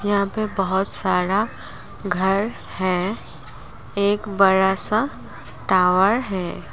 यहां पे बहोत साड़ा घर है। एक बड़ा सा टॉवर है।